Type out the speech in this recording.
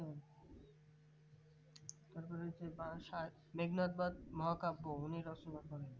আসলে সেই বারাসাত মেঘনাদবধ মহাকাব্য উনি রচনা করেন